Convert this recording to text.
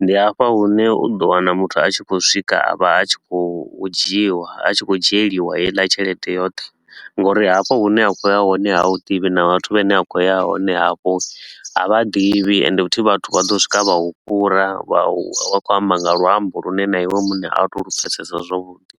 Ndi hafha hune u ḓo wana muthu a tshi khou swika a vha a tshi khou dzhiwa a tshi khou dzhieliwa heiḽa tshelede yoṱhe nga uri hafho hune a khou ya hone ha u ḓivhi na vhathu vhane a khou ya hone hafho ha vha ḓivhi ende futhi vhathu vha ḓo swika vha u fhura vha vha vha khou amba nga luambo lune na iwe muṋe a u to u lu pfesesa zwavhuḓi.